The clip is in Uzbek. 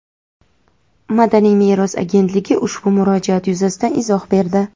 Madaniy meros agentligi ushbu murojaat yuzasidan izoh berdi.